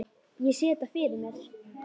Ég sé þetta fyrir mér.